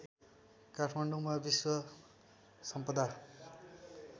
काठमाडौँमा विश्व सम्पदा